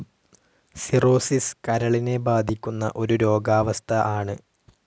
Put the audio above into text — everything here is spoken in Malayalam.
സിറോസിസ് കരളിനെ ബാധിക്കുന്ന ഒരു രോഗാവസ്ഥ ആണ്.